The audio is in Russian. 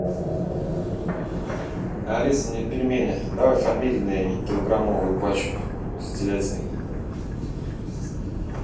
алиса мне пельмени давай фамильные килограммовую пачку с телятиной